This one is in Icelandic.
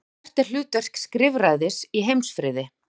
Og hvert er hlutverk skrifræðis í heimsfriði?